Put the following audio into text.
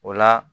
O la